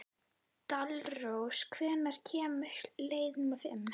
Dalrós, hvenær kemur leið númer fimm?